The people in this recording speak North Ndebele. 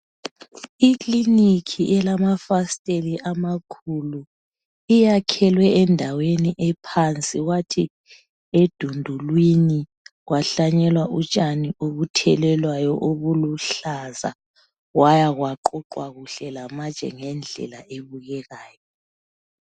Iklinikhi elamafasteli amakhulu. Iyakhelwe endaweni ephansi kwathi edundulwini kwahlanyelwa utshani obuthelelwayo obuluhlaza kwaya kwaqoqwa kuhle lamatshe ngendlela ebukekayo.